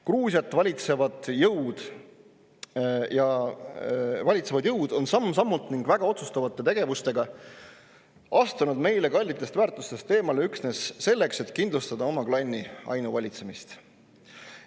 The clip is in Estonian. Gruusiat valitsevad jõud on samm-sammult ning väga otsustavate tegevustega astunud meile kallitest väärtustest eemale üksnes selleks, et kindlustada oma klanni ainuvalitsemist.